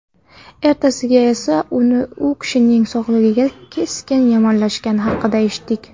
Ertasiga esa u kishining sog‘ligi keskin yomonlashgani haqida eshitdik.